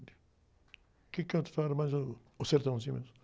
Quem era mais o, o mesmo.